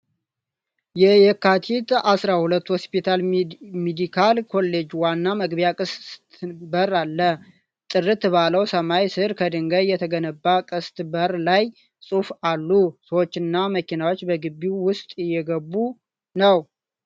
የየካቲት ፲፪ ሆስፒታል ሜዲካል ኮሌጅ ዋና መግቢያ ቅስት በር አለ። ጥርት ባለው ሰማይ ስር፣ ከድንጋይ የተገነባው ቅስት በር ላይ ጽሑፎች አሉ። ሰዎችና መኪኖች በግቢው ውስጥ እየገቡ ነው።